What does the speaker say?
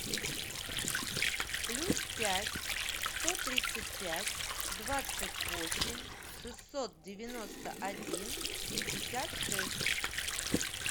плюс пять сто тридцать пять двадцать восемь шестьсот девяносто один пятьдесят шесть